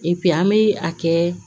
an bɛ a kɛ